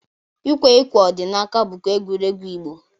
Ikwe ukwe ọdịnaaka bụkwa egwuregwu Igbo.